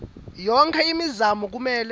yonkhe imizamo kumele